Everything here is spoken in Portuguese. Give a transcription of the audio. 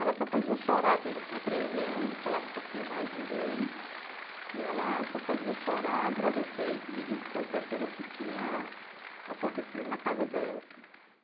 Ela só fazia chorar, assim eu já tinha treze anos, falava um pouquinho mais de inglês e ela só fazia chorar, agradecer e pedir desculpa pelo que tinha acontecido na casa dela.